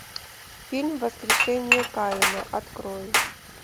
фильм воскрешение каина открой